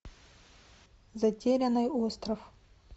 затерянный остров